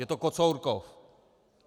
Je to Kocourkov.